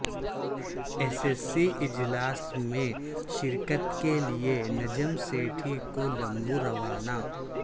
اے C C اجلا س میں شرکت کے لیے نجم سیٹھی کولمبو روانہ